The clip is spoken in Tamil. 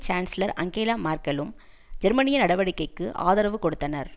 சான்ஸ்லர் அங்கேலா மேர்க்கெலும் ஜெர்மனிய நடவடிக்கைக்கு ஆதரவு கொடுத்தனர்